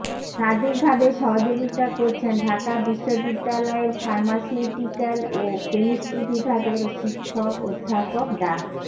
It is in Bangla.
সার্বিকভাবে সহযোগিতা করছেন ঢাকা বিশ্ববিদ্যালয়ের ফার্মাসিউটিক্যাল ও ক্যামিষ্ট্রি বিভাগের শিক্ষক অধ্যাপক ডা